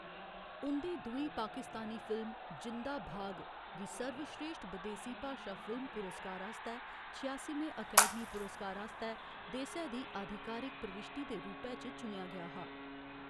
उं'दी दूई पाकिस्तानी फिल्म जिंदा भाग गी सर्वश्रेश्ठ बदेसी भाशा फिल्म पुरस्कार आस्तै छेआसिमें अकैडमी पुरस्कार आस्तै देसै दी आधिकारिक प्रविश्टी दे रूपै च चुनेआ गेआ हा।